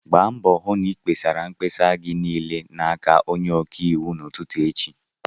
Gba mbọ hụ na-ịkpesara mkpesa gị niile n'aka onye ọka iwu n'ụtụtụ echi!